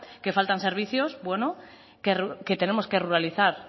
que falta servicios bueno que tenemos que ruralizar